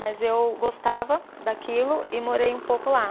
Mas eu gostava daquilo e morei um pouco lá.